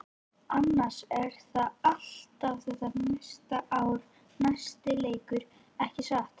Annars er það alltaf þetta næsta ár-næsti leikur, ekki satt?